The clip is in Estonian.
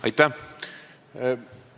Aitäh!